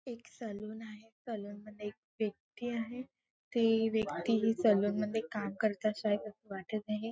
एक सलून आहे सलून मध्ये एक व्यक्ती आहे ती व्यक्ती सलून मध्ये काम करता आहे अस वाटत आहे.